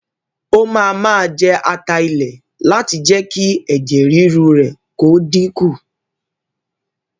O máa máa jẹ ata ilẹ̀ láti fi jé kí ẹ̀jẹ̀ ríru rẹ kó dínkù